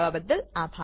જોડાવા બદ્દલ આભાર